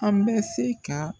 An bɛ se ka